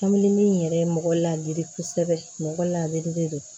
Kamini in yɛrɛ mɔgɔ ladiri kosɛbɛ mɔgɔ ladiri de don